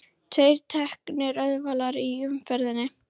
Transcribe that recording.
Tveir teknir ölvaðir í umferðinni